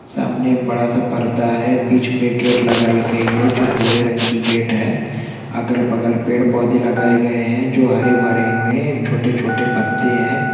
सामने एक बढ़ा-सा पर्दा है बिच मे गेट लगाई गयी है जो भुरे रंग की गेट है अगल-बगल पेड़-पौधे लगाए गए है जो हरे-भरे हुए है छोटे-छोटे पत्ते है।